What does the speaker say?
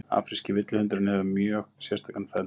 Afríski villihundurinn hefur mjög sérstakan feld